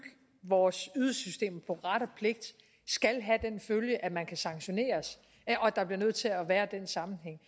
vores ydelsessystem på ret og pligt skal have den følge at man kan sanktioneres og at der bliver nødt til at være den sammenhæng